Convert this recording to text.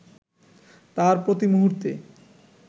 তার প্রতিমুহূর্তে